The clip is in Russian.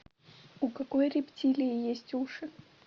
у какой рептилии есть уши